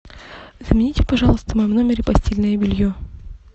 замените пожалуйста в моем номере постельное белье